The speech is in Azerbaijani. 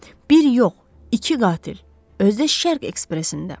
Bir yox, iki qatil, özü də Şərq Ekspresində.